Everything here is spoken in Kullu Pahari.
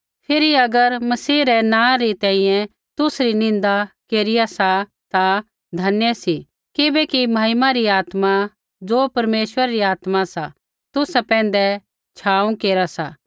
फिरी अगर मसीह रै नाँ री तैंईंयैं तुसरी निन्दा केरिया सा ता धन्य सी किबैकि महिमा री आत्मा ज़ो परमेश्वरै री आत्मा सा तुसा पैंधै छ़ाँव केरा सा